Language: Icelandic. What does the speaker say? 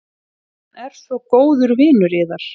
Hann er svo góður vinur yðar.